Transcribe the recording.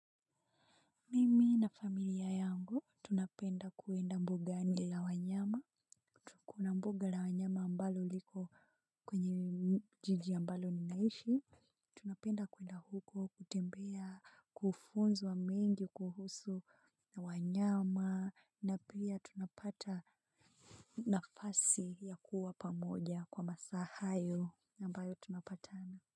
Mimi na familia yangu tunapenda kuenda mbugani la wanyama. Kuna mbuga la wanyama ambalo liko kwenye jiji ambalo ninaishi. Tunapenda kuenda huko kutembea, kufunzwa mengi kuhusu wanyama, na pia tunapata nafasi ya kuwa pamoja kwa masaa hayo ambayo tunapatana.